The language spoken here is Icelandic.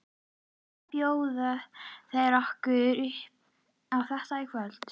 Hvað bjóða þeir okkur upp á þetta kvöldið?